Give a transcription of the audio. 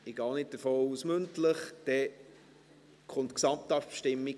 Ich gehe auch nicht davon aus, dass mündlich welche gestellt werden.